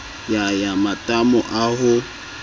ya ya matamo a ho